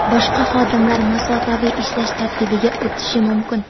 boshqa xodimlar masofaviy ishlash tartibiga o‘tishi mumkin.